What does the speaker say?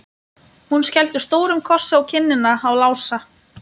Hún skellti stórum kossi á kinnina á Lása.